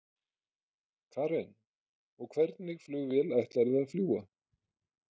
Karen: Og hvernig flugvél ætlarðu að fljúga?